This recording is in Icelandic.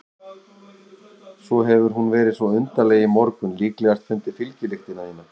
Svo hefur hún verið svo undarleg í morgun, líklegast fundið fylgjulyktina þína.